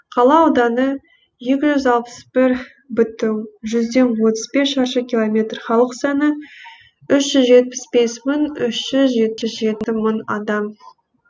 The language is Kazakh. қала ауданы екі жүз алпыс бір бүтін жүзден отыз бес шаршы километр халық саны үш жүз жетпіс бес мың үш жүз жетпіс жеті мың адам